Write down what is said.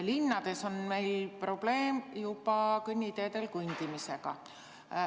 Linnades on meil probleeme juba kõnniteel kõndimisega.